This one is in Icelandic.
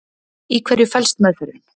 í hverju felst meðferðin